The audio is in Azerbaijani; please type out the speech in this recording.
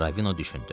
Ravino düşündü.